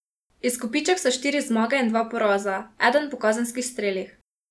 Izkupiček so štiri zmage in dva poraza, eden po kazenskih strelih.